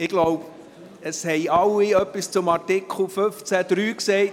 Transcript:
Ich glaube, es haben alle etwas zu Artikel 15 Absatz 3 gesagt.